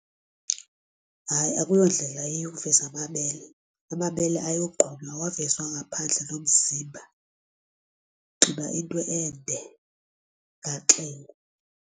Hayi, akuyondlela eyiyo ukuveza amabele, amabele awyogqunywa awavezwa ngaphandle nomzimba unxiba into ende ugaxele.